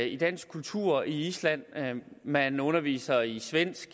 i dansk kultur i island man underviser i svensk